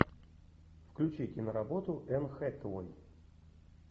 включи киноработу энн хэтэуэй